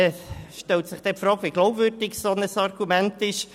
Es stellt sich hier die Frage, wie glaubwürdig ein solches Argument ist.